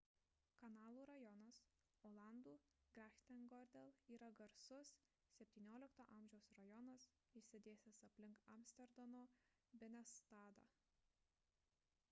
kanalų rajonas olandų: grachtengordel yra garsus xvii a. rajonas išsidėstęs aplink amsterdamo binnenstadą